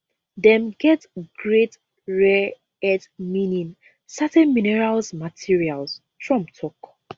dem get great rare earth meaning certain minerals materials trump tok